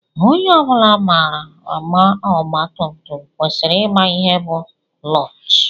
Onye ọ bụla maara agba ọgba tum tum kwesịrị ịma ihe bu clọọch.